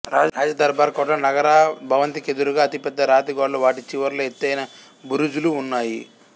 రాజ దర్బార్ కోటలో నగారా భవంతికెదురుగా అతిపెద్ద రాతిగోడలు వాటి చివర్లో ఎత్తయిన బురుజులు ఉన్నాయి